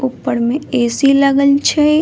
ऊप्पर में ए.सी. लगल छय।